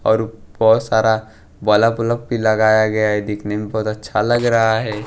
और बहुत सारा भी लगाया गया है दिखने में बहुत अच्छा लग रहा है।